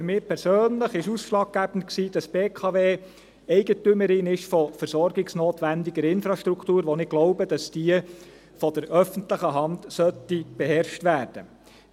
Für mich persönlich war ausschlaggebend, dass die BKW Eigentümerin von versorgungsnotwendiger Infrastruktur ist, von der ich glaube, dass diese von der öffentlichen Hand beherrscht werden sollte.